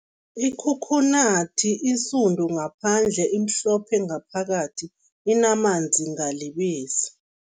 Ikhokhonathi insundu ngaphandle, imhlophe ngaphakathi, inamanzi ngalibisi.